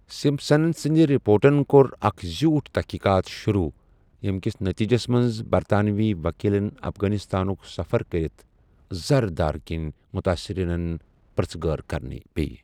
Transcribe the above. Simpson سٕندِ رپوٹن کوٚر اَکھ زیوٗٹھ تحقیقات شروع ،ییٚمکِس نٔتیٖجَس منٛز برطانوی ؤکیٖلن افغانستانُک سَفَر كرِتھ زردادٕ كین مٗتٲصرینن پرژھہٕ گٲر كرٕنہِ پییہ ۔